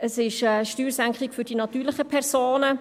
Es ist eine Steuersenkung für die natürlichen Personen.